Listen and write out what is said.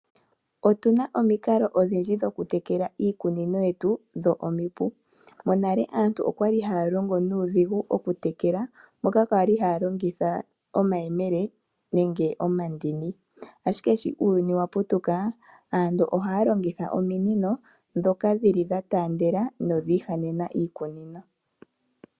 Otuna omikalo odhindji dhoku tekela iikunino yetu dho omipu . Monale aantu okwali haya longo nuudhigu oku tekela moka kwali haya longitha omayemele nenge omandini ,ashike sho uuyuni wa putuka aantu ohaya longitha ominino ndhoka dhili dha taandela nodha andjakana miikunino.